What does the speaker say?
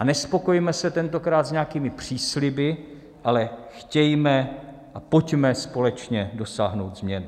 A nespokojme se tentokrát s nějakými přísliby, ale chtějme a pojďme společně dosáhnout změn.